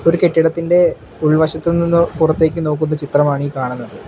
ഒരു കെട്ടിടത്തിന്റെ ഉൾവശത്ത് നിന്ന് പുറത്തേക്ക് നോക്കുന്ന ചിത്രമാണീ കാണുന്നത്.